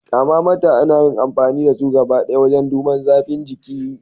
Tharmamater ana yin amfani da su gabadaya wajen duban zafin jiki.